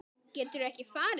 Geturðu ekki farið?